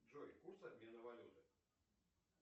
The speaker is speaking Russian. джой курс обмена валюты